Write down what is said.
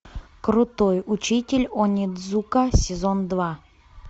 крутой учитель онидзука сезон два